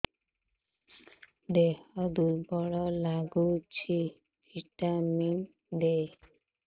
ଦିହ ଦୁର୍ବଳ ଲାଗୁଛି ଭିଟାମିନ ଦେ